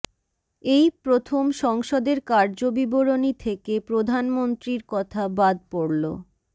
এই প্রথম সংসদের কার্যবিবরণী থেকে প্রধানমন্ত্রীর কথা বাদ পড়ল